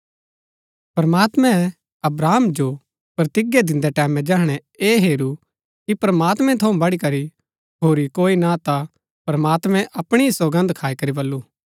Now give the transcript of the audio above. प्रमात्मैं अब्राहम जो प्रतिज्ञा दिन्दै टैमैं जैहणै ऐह हेरू कि प्रमात्मैं थऊँ बढ़ीकरी होरी कोई ना हा ता प्रमात्मैं अपणी ही सौगन्द खाई करी बल्लू